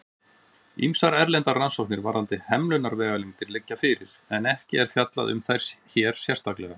Ýmsar erlendar rannsóknir varðandi hemlunarvegalengdir liggja fyrir, en ekki er fjallað um þær hér sérstaklega.